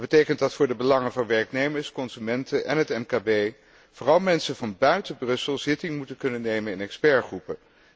Dat betekent dat voor de belangen van werknemers, consumenten en het MKB vooral mensen van buiten Brussel zitting moeten kunnen nemen in deskundigengroepen.